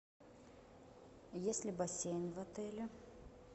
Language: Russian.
есть ли бассейн в отеле